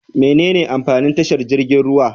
Mene amfanin tashar jirgin ruwa?